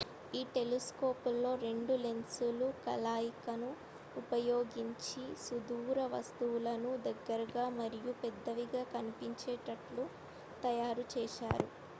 ఈ టెలిస్కోపులలో రెండు లెన్స్ల కలయికను ఉపయోగించి సుదూర వస్తువులను దగ్గరగా మరియు పెద్దవిగా కనిపించేటట్లు తయారు చేశారు